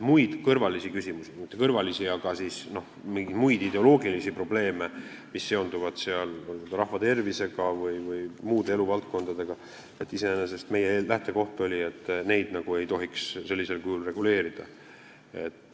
Muid kõrvalisi küsimusi, tegelikult mitte kõrvalisi, vaid mingeid muid ideoloogilisi probleeme, mis seonduvad rahvatervisega või muude eluvaldkondadega, ei tohiks sellisel kujul reguleerida – see oli iseenesest meie lähtekoht.